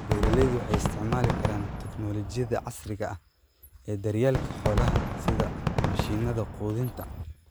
Beeralayda waxay isticmaali karaan tignoolajiyada casriga ah ee daryeelka xoolaha, sida mashiinada quudinta.